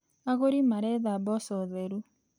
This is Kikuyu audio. Agũri maretha mboco theru.